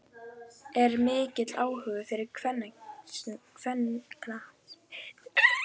Er mikill áhugi fyrir kvennaknattspyrnu á Egilsstöðum?